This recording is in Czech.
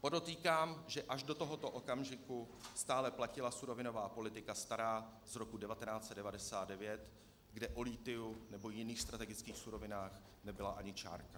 Podotýkám, že až do tohoto okamžiku stále platila surovinová politika stará z roku 1999, kde o lithiu nebo jiných strategických surovinách nebyla ani čárka.